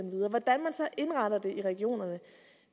indrette det i regionerne